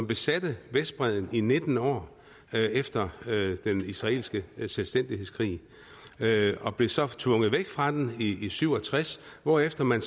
besatte vestbredden i nitten år efter den israelske selvstændighedskrig og blev så tvunget væk fra den i nitten syv og tres hvorefter man